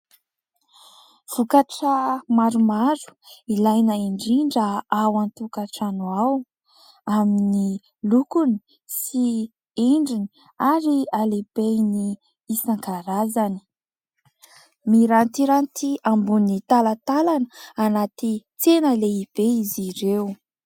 Vokatra maromaro, ilaina indrindra ao an-tokantrano ao. Amin'ny lokony sy endriny ary halebehany isankarazany. Mirantiranty ambony talatalana anaty tsena lehibe izy ireo.